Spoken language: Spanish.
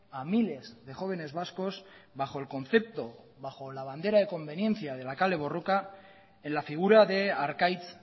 a miles de jóvenes vascos bajo el concepto bajo la bandera de conveniencia de la kale borroka en la figura de arkaitz